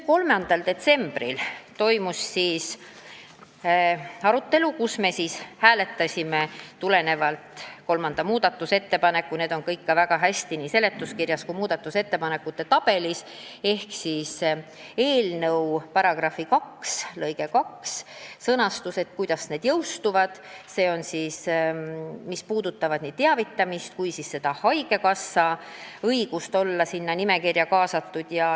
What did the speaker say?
3. detsembril toimus arutelu, kus me hääletasime kolmandat muudatusettepanekut – see kõik on väga hästi näha nii seletuskirjast kui ka muudatusettepanekute tabelist –, st eelnõu § 2 lõike 2 sõnastust ehk kuidas jõustuvad seaduse punktid, mis puudutavad nii teavitamist kui ka haigekassa õigust olla sinna nimekirja kaasatud.